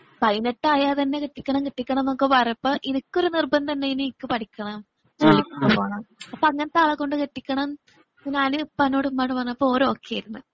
പൈനെട്ട് അയാല്തന്നെ കെട്ടിക്കണം കെട്ടിക്കണം ന്നൊക്കെ പറഞ്ഞപ്പം ഇനക്ക് ഒരു നിർബന്ധം ഉണ്ടായിനി നിക്ക് പഠിക്കണം ജോലിക്ക് പോവണം അപ്പൊ അങ്ങനത്തെ ആളെ കൊണ്ടുകെട്ടിക്കണം ഞാന് ഉപ്പയോടും ഉമ്മയോടും പറഞ്ഞപ്പോ ഓക്കേ ആരുന്നു.